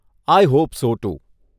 I hope so two.